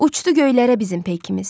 Uçdu göylərə bizim peykimiz.